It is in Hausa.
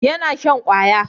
yana shan kwaya